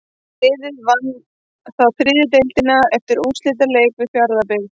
Liðið vann þá þriðju deildina eftir úrslitaleik við Fjarðabyggð.